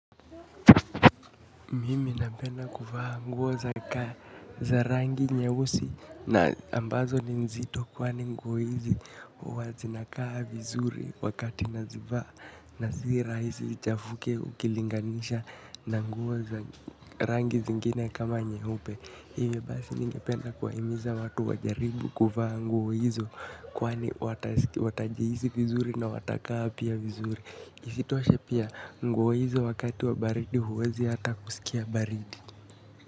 Mimi napenda kuvaa nguo za kaa za rangi nyeusi na ambazo ni nzito kwani nguo hizi huwazinakaa vizuri wakati nazivaa na sira hisi ichafuke ukilinganisha na nguo za rangi zingine kama nyeupe hivyo basi ningependa kuwahimiza watu wajaribu kuvaa nguo hizo kwani watajihisi vizuri na watakaa pia vizuri. Isitoshe pia nguo hizo wakati wa baridi huwezi hata kusikia baridi.